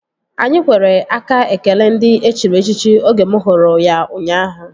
Anyị kwere aka ekele ndị e chiri echichi oge mụ hụrụ ya ụnyaahụ